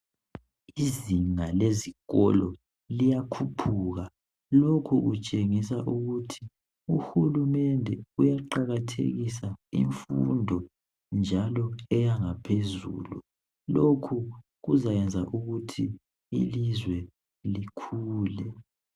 Izinga lezikolo liyakhuphuka lokhu kutshengisa ukuthi uhulumende uyaqakathekisa imfundo njalo eyangaphezulu lokhu kuzayenza ukuthi ilizwe likhule.